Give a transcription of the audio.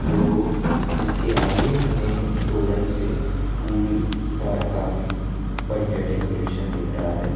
दो जिसके आगे हमें तोरन से फूल का काफी बढ़िया डेकोरेशन दिख रहा है।